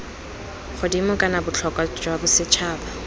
godimo kana botlhokwa jwa bosetšhaba